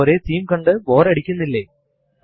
അതുകൊണ്ട് എന്തെങ്കിലും വാചകം ടൈപ്പ് ചെയ്യുക